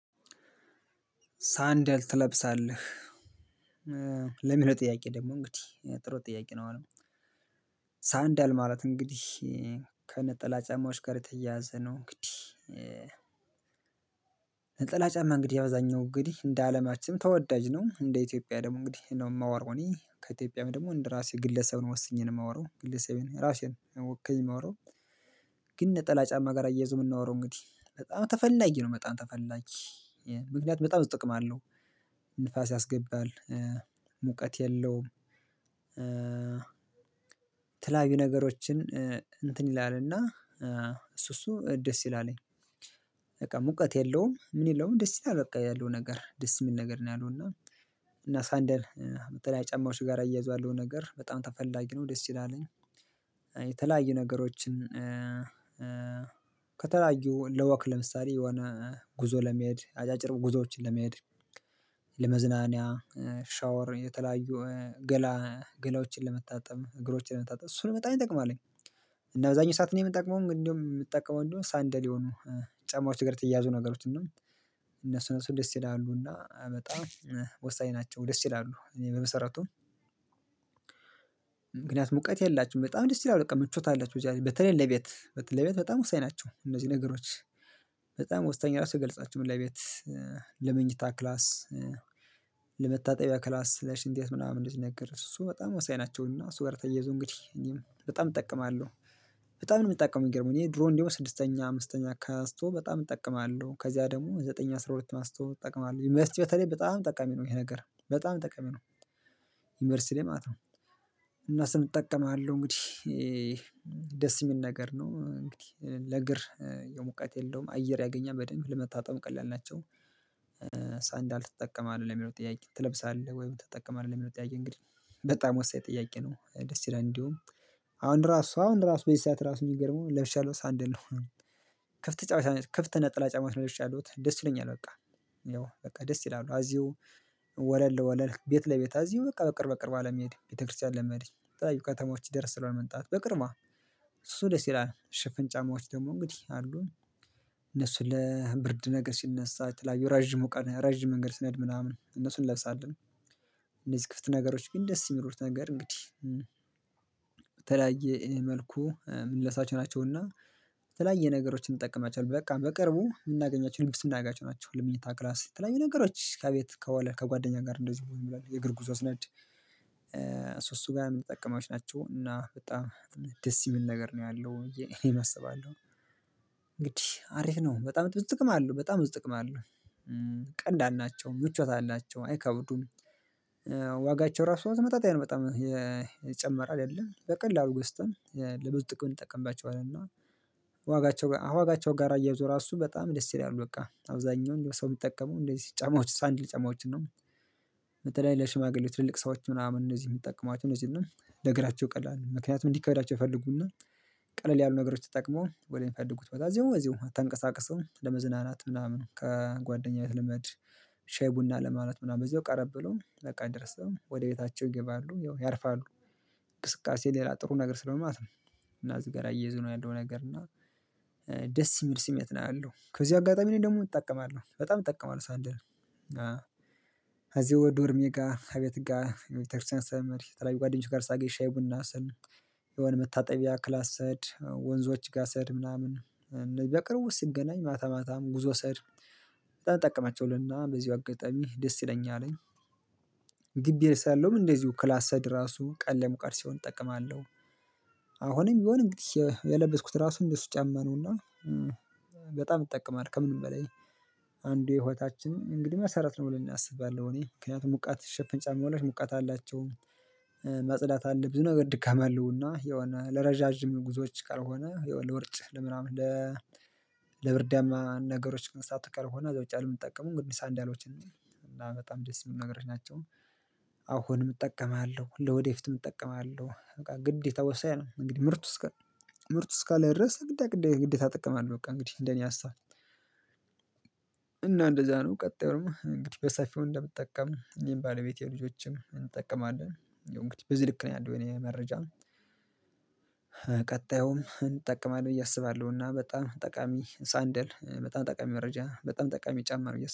ሰንደል ትለብሳለህ ለምን ነው? ጥያቄ ደግሞ እንግዲህ ጥሩ ጥያቄ ነው። አሁን ሰንዳል ማለት እንግዲህ ከነጠላ ጫማዎች ጋር የተያያዘ ነው። እንግዲህ ነጠላ ጫማ እንግዲህ አብዛኛው እንግዲህ እንደ አለማችን ተወዳጅ ነው እንደ ኢትዮጵያ ደግሞ እንግዲህ ነው የማወራው እኔ ከኢትዮጵያም ደግሞ እንደ ራሴ ግለሰብ ነው ወስኜ ነው የማወራው ግለሰቤን ራሴን ወክየ የማወራው። ግን ነጠላ ጫማ ጋር አያይዞ የምናወራው እንግዲህ በጣም ተፈላጊ ነው በጣም ተፈላጊ። ምክንያቱም በጣም ጥቅም አለው ንፋስ ያስገባል ሙቀት የለውም። የተለያዩ ነገሮችን እንትን ይላልና እሱ እሱ ደስ ይላል እኔ በቃ ሙቀት የለውም ምን የለውም ደስ ይላል። በቃ ያለው ነገር ደስ የሚል ነገር ነው ያለው እና እና ሰንደር የምትለው ጫማዎች ጋር አያይዟለሁ ነገር በጣም ተፈላጊ ነው። ደስ ትችላለኝ የተለያዩ ነገሮችን ከተለያዩ ለወክ ለምሳሌ የሆነ ጉዞ ለመሄድ አጫጭር ጉዞዎችን ለመሄድ ለመዝናኛ ሻወር የተለያዩ ገላ ገላዎችን ለመታጠብ እግሮችን ለመታጠም እሱን በጣም እንጠቅማለኝ። እና አብዛኛው ሰዓት ነው የምንጠቅመው እንደውም የምንጠቀመው እንደውም ሳንደል የሆኑ ጫማዎች እግር ተያያዙ ነገሮች እና እነሱን እነሱን ደስ ይላሉ እና ወሳኝ ናቸው ደስ ይላሉ። እኔ በመሰረቱም ምክንያቱም እውቀት የላችሁም በጣም ደስ ይላል በቃ ምቾት አለቸው በዚህ በተለይ ለቤት ለቤት በጣም ወሳኝ ናቸው። እነዚህ ነገሮች በጣም ወሳኛ ራሱ አይገለጻቸውም ለቤት ለመኝታ ክላስ ለመታጠቢያ ክላስ ለሽንቴት ምናምን እንደዚ ነገር እሱ በጣም አሳይ ናቸውና እሱ ጋር ተየዞ እንግዲህ እኔም በጣም እጠቀማለሁ። በጣም ነው የምጠቀመው የሚገርመው እኔ ድሮ እንደው ስድስተኛ አምስተኛ ከአንቶ በጣም እጠቀማለሁ ከዚያ ደግሞ ዘጠኝ አስራ ሁለት አንስቶ እጠቀማለሁ ዩኒቨርሲቲ በተለይ በጣም ጠቀሚ ነው ይሄ ነገር በጣም ጠቀሚ ነው። ዩኒቨርሲቲ ላይ ማለት ነው እና ስንጠቀም አለው እንግዲህ ደስ የሚል ነገር ነው እንግዲህ ለእግር የሙቀት የለውም አየር ያገኛል በደንብ ለመታጠብ ቀላል ናቸው። ትጠቀማለህ ለሚለው ጥያቄ ትለብሳለህ ወይም ትጠቀማለህ ለሚለው ጥያቄ እንግዲህ በጣም ወሳኝ ጠያቄ ነው ደስ ይለን እንዲሁም አሁን ራሱ አሁን ራሱ በዚህ ሰዓት ራሱ የሚገርመው ለብሻለሁ ሰንደል ነው። ክፍት ተጫዋች ክፍት ነጠላጫማት ለብሼ ያሉት ደስ ይለኛል በቃ ያው በቃ ደስ ይላሉ አዚሁ ወለል ለወለል ቤት ለቤት አዚው በቃ በቅርብ በቅርብ አለመሄድ ቤተክርስቲያን ለመሄድ ጠዋዩ ከተሞች ይደርስለው መንጣት በቅርማ እሱ ደስ ይላል ሽፍን ጫማዎች ደግሞ እንግዲህ አሉን እነሱ ለብርድ ነገር ሲነሳ የተለያዩ ረጅሙ ቀን ረጅም መንገድ ስንሄድ ምናምን እነሱን እለቅሳለሁ። እንደዚህ ክፍት ነገሮች ግን ደስ የሚሩት ነገር እንግዲህ በተለያየ መልኩ ምልልሳቸው ናቸውና በተለያየ የተለያየ ነገሮችን እንጠቀማቸዋለን በቃ በቅርቡ የምናገኛቸው ልዩነት የምናጋጭ ናቸው። ልዩነት ክላስ በተለይ ነገሮች ከቤት ከዋለ ከጓደኛ ጋር እንደዚህ ይላል የእግር ጉዞ አስነድ እሱ እሱ ጋር የምንጠቀማቸው ናቸው እና በጣም ደስ የሚል ነገር ነው ያለው እኔ እሰባለሁ እንግዲህ አሪፍ ነው በጣም ጥቅም አለው በጣም ጥቅም አለው። ቀላል ናቸው ምቾት አላቸው አይከብዱም ዋጋቸው ራሱ በተመጣጣኝ ነው በጣም የጨመረ አይደለም በቀላሉ ገስተን ለብዙ ጥቅም እንጠቀምባቸዋለን እና ዋጋቸው አዋጋቸው ጋራ እያዞራ እሱ በጣም ደስ ይለኛል በቃ አብዛኛው ሰው የሚጠቀመው እንደዚህ ጫማዎች ሳንድል ጫማዎች ነው። በተለይ ለሽማግሌ ትልልቅ ሰዎች ምናምን እነዚህ የሚጠቀማቸው እነዚህ ነው ለእግራቸው ቀላል ምክንያቱም እንዲከብዳቸው ይፈልጉና ቀለል ያሉ ነገሮች ተጠቅመው ወደሚፈልጉት በጣም እዚሁ እዚሁ አታንቀሳቅሰውም ለመዝናናት ምናምን ከጓደኛው የትልመድ ሼህ ቡና ለማለት ምናምን በዚህ ቀረብ ብሎ ለቃ ደርሰው ወደ ቤታቸው ይገባሉ ያርፋሉ። እንቅስቃሴ ሌላ ጥሩ ነገር ስለማትም እና እዚህ ጋር አየዝኖ ያንደው ነገር እና ደስ የሚል ስሜት ነው ያለው ከዚህ አጋጣሚ ነኝ ደግሞ እጠቀማለሁ በጣም እጠቀማለሁ። ሳንድል አዎ እዚህ ወደ ዶርሜጋ አቤትጋ ጋር ቤተክርስቲያን ስለምሄድ የተለያዩ ጓደኞች ጋር ሳገኘ ሻይ ቡና ስል የሆነ መታጠቢያ ክላስ ስሄድ ወንዞች ጋ ስሄድ ምናምን በቅርቡ ሲገናኝ ማታ ማታም ጉዞ ስሄድ በጣም ጠቀማቸውልና በዚሁ አጋጣሚ ደስ ይለኛልኝ። ግቢ ሳለው ምን እንደዚሁ ክላስ ክላሰድ ራሱ ቀለሙ ቀርሲውን እጠቅማለሁ አሁንም ቢሆን እንግዲህ የለበስኩት ራሱን እንደሱ ጫማ ነውና በጣም ይጠቀማል ከምንም በላይ አንዱ የህወታችን እንግዲህ መሰረት ነው ብለን እናስባለን እኔ ምክንያቱም ሙቃት ሸፈንጫ መሆናቸው ሙቃት አላቸውም። ማጽዳት አለብኝ ነገር ድካም አለውና የሆነ ለረዣዥም ጉዞዎች ካልሆነ የሆነ ለውርጭ ለምናምን ለብርዳማ ነገሮች ግን ሳትቀር እዛ ውጪ አለም እንጠቀሙን ግዲስ አንድ ያህሎችን እንዴ እና በጣም ደስ የሚል ነገሮች ናቸው። አሁን እጠቀማለሁ ለወደፊት እጠቀማለሁ በቃ ግድ የተወሰነ ነው እንግዲህ ምርት ውስጥ ምርት ውስጥ ካለ ድረስ ግድ ግድ ግድ ታጠቅማለህ በቃ እንግዲህ እንደኔ አሳብ። እና እንደዛ ነው ቀጣዩ ደግሞ እንግዲህ በሳፊው እንደምጠቀም ይሄን ባለቤቴ ልጆችም እንጠቀማለን እንግዲህ በዚህ ልክ ነው ያለው እኔ መረጃ ቀጥ ቀጣዩም እጠቀማለሁ ብዬ አስባለሁ እና በጣም ጠቃሚ ሳንደል በጣም ጠቃሚ መረጃ በጣም ጠቃሚ ጫማ ነው ብዬ